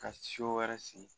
Ka wɛrɛ sigi